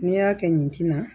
N'i y'a kɛ ɲinti na